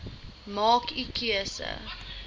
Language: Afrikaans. maak u keuse